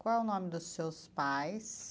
Qual é o nome dos seus pais?